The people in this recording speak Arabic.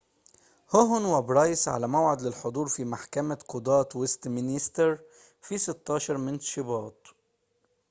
هوهن وبرايس على موعد للحضور في محكمة قضاة ويستمينستر في 16 من شباط